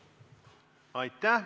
Aitäh!